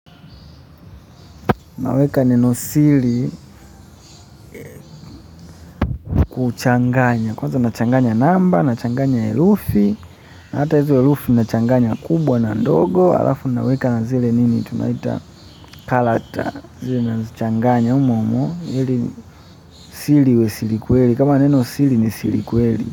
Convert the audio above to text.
Naweka neno siri kuchanganya. Kwanza nachanganya namba, nachanganya herufi. Na hata hizo herufi nachanganya kubwa na ndogo. Halafu naweka na zile nini tunaita, character. Zile nazichanganya humohumo. Ili siri iwe siri kweli. Kama neno siri ni siri kweli.